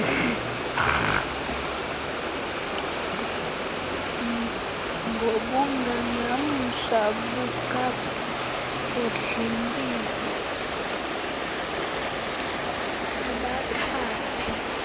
ngobungangamsha bukabhodlimpilo ubakhaphe